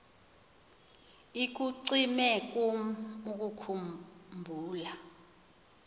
ikucime kum ukukhumbula